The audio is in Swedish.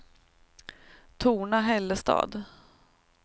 Torna-Hällestad